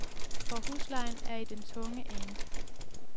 For huslejen er i den tunge ende.